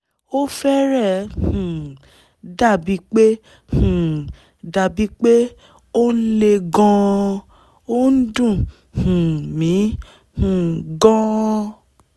ó fẹ́rẹ̀ẹ́ um dàbíi pé um dàbíi pé ó ń le gan-an! ó ǹ dùn um mí um gan-an